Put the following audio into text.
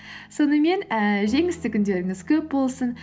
сонымен ііі жеңісті күндеріңіз көп болсын